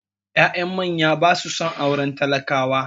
Ya'yan manya ba su son auren talakawa